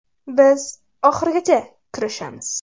Biz oxirigacha kurashamiz.